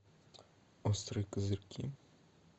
острые козырьки